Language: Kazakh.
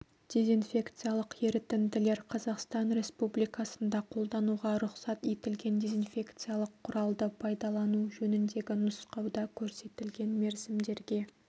дезинфекциялық ерітінділер қазақстан республикасында қолдануға рұқсат етілген дезинфекциялық құралды пайдалану жөніндегі нұсқауда көрсетілген мерзімдерге